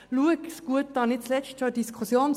Schauen Sie es sich gut an.